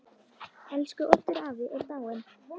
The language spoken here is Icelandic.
Elsku Oddur afi er dáinn.